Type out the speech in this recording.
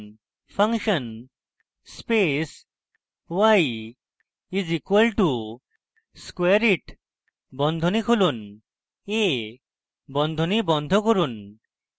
function space y is equal to squareit বন্ধনী খুলুন a বন্ধনী বন্ধ করুন